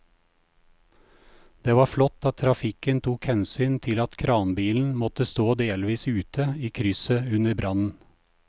Det var flott at trafikken tok hensyn til at kranbilen måtte stå delvis ute i krysset under brannen.